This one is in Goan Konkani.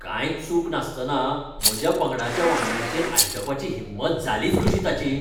कांयच चूक नासतना म्हज्या पंगडाच्या वांगड्यांचेर आड्डुपाची हिंमत जालीच कशी ताची?